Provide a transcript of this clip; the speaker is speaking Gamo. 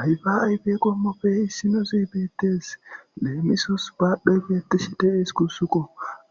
Ayfaa ayfe qommoppe issinozi beeththees; leemisos baadhdhoy beeththishi de7ees guusakko;